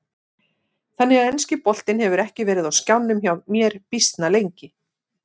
Þannig að enski boltinn hefur ekki verið á skjánum hjá mér býsna lengi.